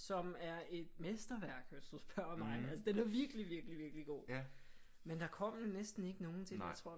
Som er et mesterværk hvis du spørger mig altså den er virkelig virkelig virkelig god men der kom næsten ikke nogen til den jeg tror